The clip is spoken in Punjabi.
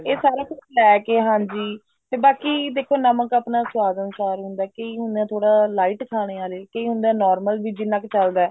ਇਹ ਸਾਰਾ ਕੁੱਛ ਲੈਕੇ ਹਾਂਜੀ ਜਿੱਦਾਂ ਕੀ ਨਮਕ ਆਪਣਾ ਸਵਾਦ ਅਨੁਸਾਰ ਹੁੰਦਾ ਕਈ ਹੁੰਦੇ ਆ ਥੋੜੇ lite ਖਾਣੇ ਆਲੇ ਕਈ ਹੁੰਦੇ ਆ normal ਵੀ ਜਿੰਨਾ ਕ ਚੱਲਦਾ